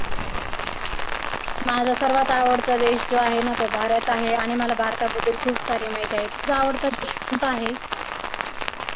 माझा सर्वात आवडता देश जो आहे ना तो भारत आहे आणि मला भारता बद्दल खूप सारी माहिती आहे. तुझा आवडता देश कोणता आहे?